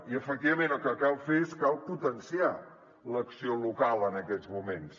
i efectivament el que cal fer és potenciar l’acció local en aquests moments